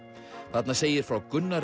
þarna segir frá Gunnari